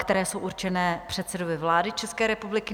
které jsou určené předsedovi vlády České republiky.